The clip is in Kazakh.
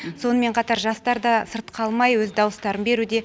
сонымен қатар жастар да сырт қалмай өз дауыстарын беруде